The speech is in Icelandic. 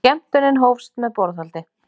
Skemmtunin hófst með borðhaldi.